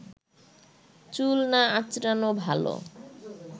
চুল না আঁচড়ানো ভালো